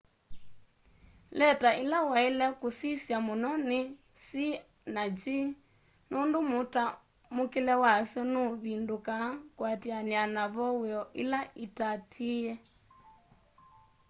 leta ila waile kusisya muno ni c na g nundu mutamukile wasyo nuvindukaa kuatiania na voweo ila iatiie